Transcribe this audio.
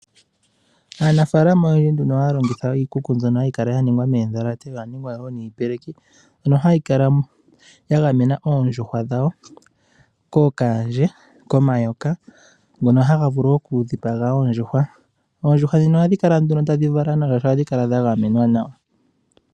Aanafaalama oyendji oha ya longitha iikuku mbyono ha yi kala ya ningwa moondhalate osho wo miipeleki. Oha yi kala ya gamena oondjuhwa dhawo kokaandje, komayoka, ngono haga vulu okudhipaga oondjuhwa. Oondjuhwa ohadhi kala ta dhi vala nawa, oshoka odha gamenwa nawa.